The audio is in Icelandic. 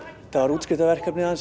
þetta var útskriftarverkefnið hans